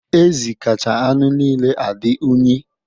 Ezi kacha anụ niile adị unyi.